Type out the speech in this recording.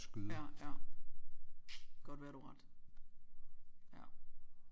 Ja ja godt være du har ret ja